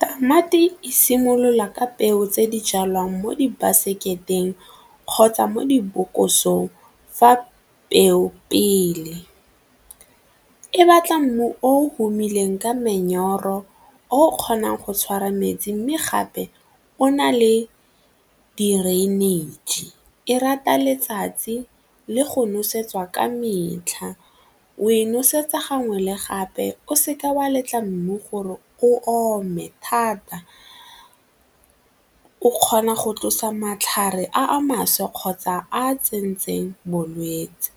Tamati e simolola ka peo tse di jalwang mo dibaseketeng kgotsa mo dibokosong fa peo pele, e batla mmu o humileng ka memyoro o o kgonang go tshwara metsi mme gape o na le drainage, e rata letsatsi le go nosetsa ka metlha we nosetsa gangwe le gape o seka wa letla mmu gore o ome thata. O kgona go tlosa matlhare a mašwa kgotsa a tsentseng bolwetse,